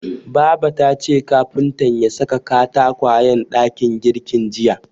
Baba tace kafuntan ya saka katakwayen dakin girkin jiya.